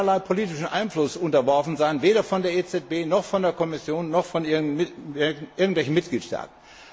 Es darf keinerlei politischem Einfluss unterworfen sein, weder von der EZB noch von der Kommission noch von irgendwelchen Mitgliedstaaten.